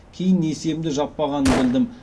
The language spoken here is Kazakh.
кейін несиемді жаппағанын білдім